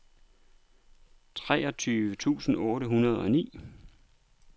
treogtyve tusind otte hundrede og ni